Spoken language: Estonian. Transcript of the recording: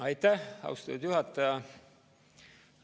Aitäh, austatud juhataja!